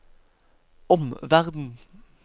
omverden